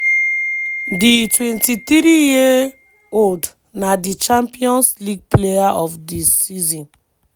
di 23 year-old na di champions league player of di season.